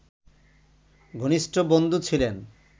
ঘনিষ্ঠ বন্ধু ছিলেন